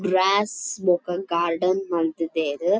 Gross ಬೊಕ್ಕ garden ಮಲ್ತ್ ದೆರ್.